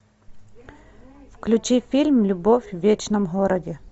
включи фильм любовь в вечном городе